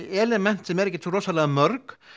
element sem eru ekki svo mörg